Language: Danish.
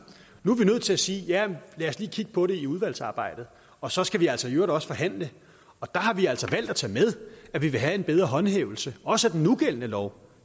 nu er vi nødt til at sige at ja lad os lige kigge på det i udvalgsarbejdet og så skal vi altså i øvrigt også forhandle der har vi altså valgt at tage med at vi vil have en bedre håndhævelse også af den nugældende lov